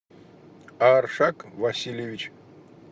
аршак васильевич